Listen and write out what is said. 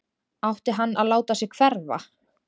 Átti hann að láta sig hverfa??